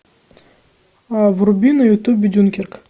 вруби на ютубе дюнкерк